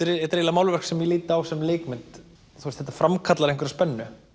málverk sem ég lít á sem leikmynd þetta framkallar einhverja spennu